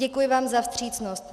Děkuji vám za vstřícnost.